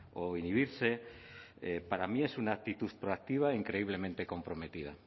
o inhibirse para mí es una actitud proactiva e increíblemente comprometida